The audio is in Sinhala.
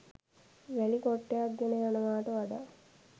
වැලි කොට්ටයක් ගෙන යනවාට වඩා